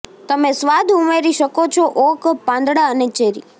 તમે સ્વાદ ઉમેરી શકો છો ઓક પાંદડા અને ચેરી